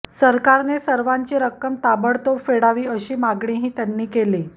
सरकारने सर्वांची रक्कम ताबडतोब फेडावी अशी मागणीही त्यांनी केली